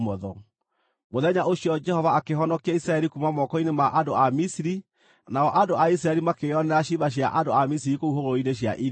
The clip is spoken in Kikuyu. Mũthenya ũcio Jehova akĩhonokia Isiraeli kuuma moko-inĩ ma andũ a Misiri, nao andũ a Isiraeli makĩĩonera ciimba cia andũ a Misiri kũu hũgũrũrũ-inĩ cia iria.